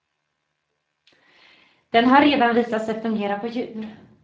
Den har redan visat sig fungera på djur.